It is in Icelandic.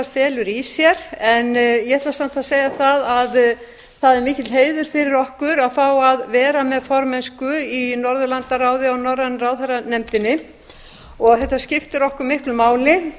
felur í sér en ég ætla samt að segja það að það er mikill heiður fyrir okkur að fá að vera með formennsku í norðurlandaráði og norrænu ráðherranefndinni þetta skiptir okkur miklu máli